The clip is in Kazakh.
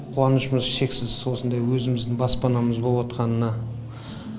қуанышымыз шексіз осындай өзіміздің баспанамыз болып атқанына